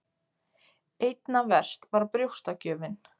Einna verst var brjóstagjöfin.